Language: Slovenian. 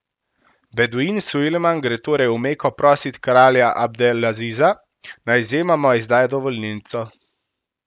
Beduin Sulejman gre torej v Meko prosit kralja Abdelaziza, naj izjemoma izda dovolilnico.